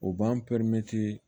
O b'an